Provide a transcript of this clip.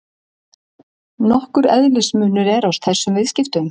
Nokkur eðlismunur er á þessum viðskiptum.